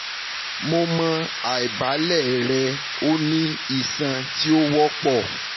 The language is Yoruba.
mo mọ aibalẹ rẹ o ni iṣan ti o wọpọ